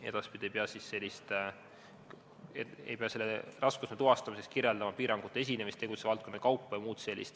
Edaspidi ei pea raskusastme tuvastamiseks kirjeldama piirangute esinemist tegutsemisvaldkondade kaupa jms.